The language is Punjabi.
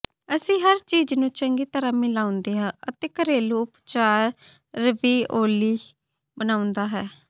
ਅਸੀਂ ਹਰ ਚੀਜ਼ ਨੂੰ ਚੰਗੀ ਤਰ੍ਹਾਂ ਮਿਲਾਉਂਦੇ ਹਾਂ ਅਤੇ ਘਰੇਲੂ ਉਪਚਾਰ ਰਵੀਓਲੀ ਬਣਾਉਂਦੇ ਹਾਂ